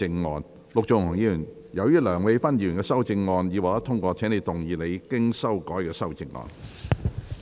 陸頌雄議員，由於梁美芬議員的修正案已獲得通過，請動議你經修改的修正案。